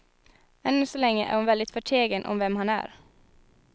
Ännu så länge är hon väldigt förtegen om vem han är.